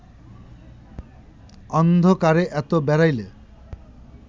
অন্ধকারে এত বেড়াইলে